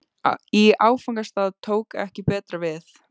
Í áfangastað tók ekki betra við.